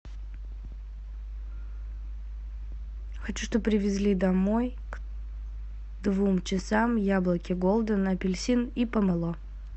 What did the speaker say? хочу что бы привезли домой к двум часам яблоки голден апельсин и помело